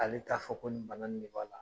Ale t'a fɔ ko nin bana de b'a la.